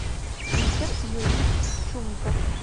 виктор юрьевич чумиков